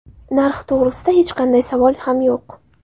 Narxi to‘g‘risida hech qanday savol ham yo‘q.